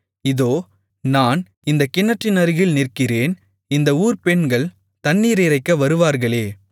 இதோ நான் இந்தக் கிணற்றினருகில் நிற்கிறேன் இந்த ஊர்ப் பெண்கள் தண்ணீர் இறைக்க வருவார்களே